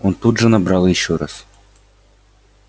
он тут же набрал ещё раз